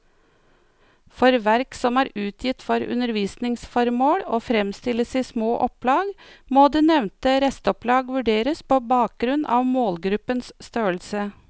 For verk som er utgitt for undervisningsformål og fremstilles i små opplag, må det nevnte restopplag vurderes på bakgrunn av målgruppens størrelse.